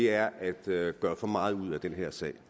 er at gøre gøre for meget ud af den her sag